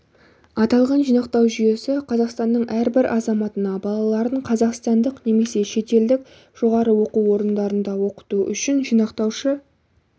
аталған жинақтау жүйесі қазақстанның әрбір азаматына балаларын қазақстандық немесе шетелдік жоғары оқу орындарында оқыту үшін жинақтаушы